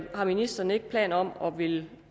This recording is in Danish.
ministeren ikke har planer om at ville